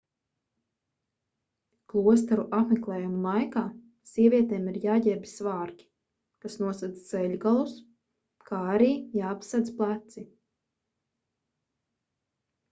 klosteru apmeklējumu laikā sievietēm ir jāģērbj svārki kas nosedz ceļgalus kā arī jāapsedz pleci